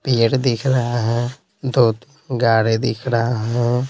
पेड़ दिख रहा है दो गाड़ी दिख रहा है।